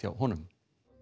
honum